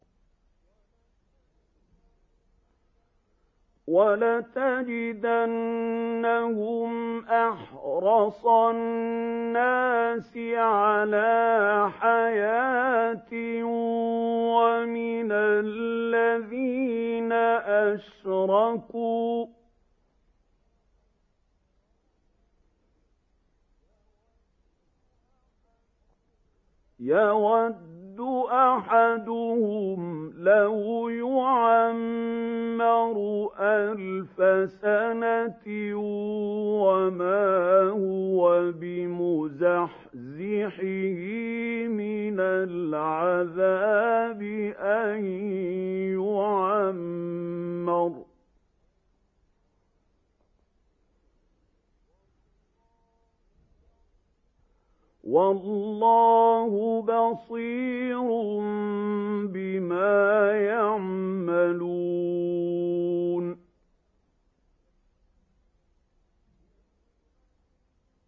وَلَتَجِدَنَّهُمْ أَحْرَصَ النَّاسِ عَلَىٰ حَيَاةٍ وَمِنَ الَّذِينَ أَشْرَكُوا ۚ يَوَدُّ أَحَدُهُمْ لَوْ يُعَمَّرُ أَلْفَ سَنَةٍ وَمَا هُوَ بِمُزَحْزِحِهِ مِنَ الْعَذَابِ أَن يُعَمَّرَ ۗ وَاللَّهُ بَصِيرٌ بِمَا يَعْمَلُونَ